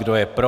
Kdo je pro?